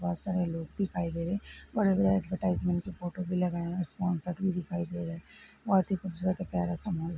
बोहोत सारे लोग दिखाई दे रहे हैं बड़ी-बड़ी एडवरटाईजमेंट की फ़ोटो भी लगाई हैं स्पौंसर भी दिखाई दे रहे हैं बोहोत ही खुबसूरत प्यारा सा माहोल --